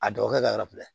A dɔgɔkɛ ka yɔrɔ filɛ